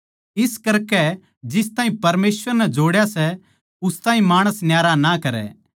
इस करकै जिस ताहीं परमेसवर नै जोड़या सै उस ताहीं माणस न्यारा ना करै